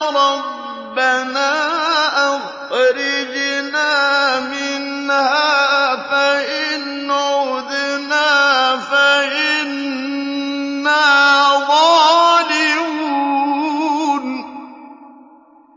رَبَّنَا أَخْرِجْنَا مِنْهَا فَإِنْ عُدْنَا فَإِنَّا ظَالِمُونَ